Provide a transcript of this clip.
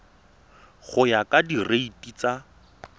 go ya ka direiti tsa